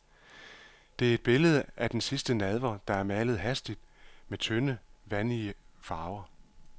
Det er et billede af den sidste nadver, der er malet hastigt med tynde, vandige farver.